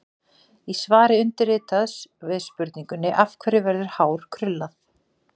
Í svari undirritaðs við spurningunni: Af hverju verður hár krullað?